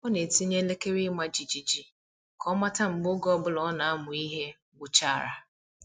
Ọ na-etinye elekere ịma jijiji ka ọ mata mgbe oge ọ bụla ọ na-amụ ihe gwụchara.